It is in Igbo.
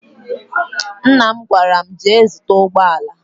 Nna m gwara m, jee zụta ụgbọala!